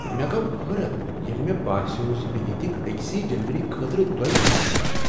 مےٚ گوٚو حٲرتھ ییٚلہ مےٚ باسیوو ز مےٚ ہیٚتکھ أکسٕے ڈیٚلؤری خٲطرٕ دۄیہ پھر پونٛسہٕ۔